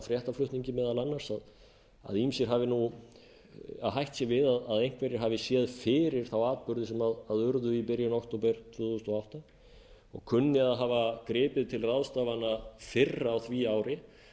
fréttaflutningi meðal annars að hætt sé við að einhverjir hafi séð fyrir þá atburði sem urðu í byrjun október tvö þúsund og átta og kunni að hafa gripið til ráðstafana fyrr á því ári ég